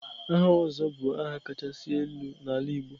Aha Ozo bụ aha kacha elu n'ala Igbo.